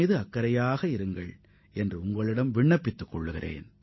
உங்களது ஆரோக்கியத்திலும் சமூக ஈடுபாடுகளிலும் கவனம் செலுத்துங்கள்